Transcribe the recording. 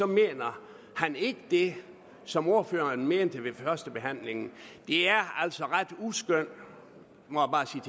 mener han ikke det som ordføreren mente ved førstebehandlingen det er altså ret uskønt må